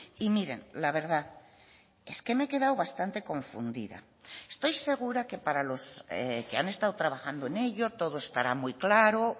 y miren la verdad es que me he quedado bastante confundida estoy segura que para los que han estado trabajando en ello todo estará muy claro